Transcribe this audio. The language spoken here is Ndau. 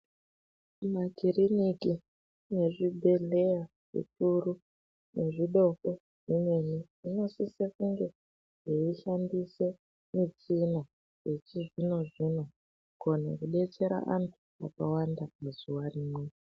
Makiriniki nezvebhedhleya zvikuru nezvidoko zvimweni zvinosise kunge zveshandise michina yechizvino zvino kukone kudetsera anhu akawanda muzuwa rimwe.